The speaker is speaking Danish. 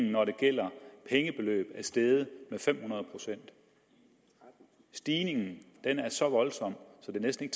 når det gælder pengebeløb er det steget med fem hundrede procent stigningen er så voldsom at det næsten